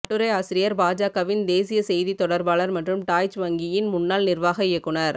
கட்டுரை ஆசிரியர் பாஜகவின் தேசிய செய்தித் தொடர்பாளர் மற்றும் டாய்ச் வங்கியின் முன்னாள் நிர்வாக இயக்குனர்